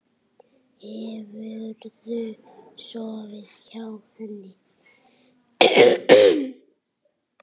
Hefurðu sofið hjá henni?